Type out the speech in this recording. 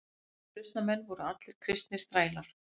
Uppreisnarmenn voru allir kristnir þrælar.